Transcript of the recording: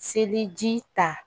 Seliji ta